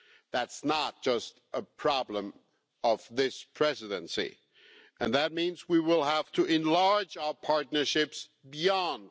That's not just a problem of this Presidency, and that means we will have to enlarge our partnerships beyond.